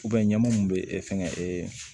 ɲɛmɔmu min bɛ fɛnkɛ ee